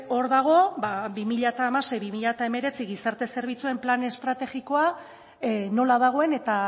hor dago bi mila hamasei bi mila hemeretzi gizarte zerbitzuen plan estrategikoa nola dagoen eta